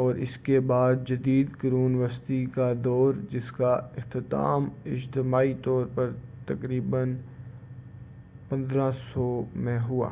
اور اس کے بعد جدید قرون وسطیٰ کا دور جس کا اختتام اجتماعی طور پر تقریباً 1500 میں ہوا